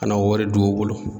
Ka na o wari don u bolo